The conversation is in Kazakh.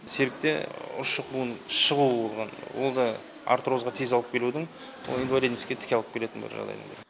серікте ұршық буын шығу ол да артрозға тез алып келудің ол инвалидностьке тіке алып келетін бір жағдай